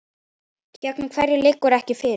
Gegn hverjum liggur ekki fyrir.